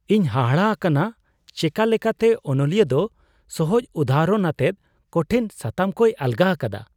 ᱤᱧ ᱦᱟᱦᱟᱲᱟ ᱟᱠᱟᱱᱟ ᱪᱮᱠᱟ ᱞᱮᱠᱟᱛᱮ ᱚᱱᱚᱞᱤᱭᱟᱹ ᱫᱚ ᱥᱚᱦᱚᱡ ᱩᱫᱟᱦᱚᱨᱚᱱ ᱟᱛᱮᱫ ᱠᱚᱴᱷᱤᱱ ᱥᱟᱛᱟᱢ ᱠᱚᱭ ᱟᱞᱜᱟ ᱟᱠᱟᱫᱟ ᱾